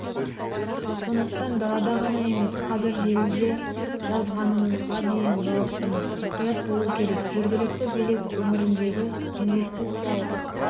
сондықтан далада ғана емес қазір желіде жазғанымызға дейін жауаптымыз мұқият болу керек жергілікті билік өңірдегі инвестициялық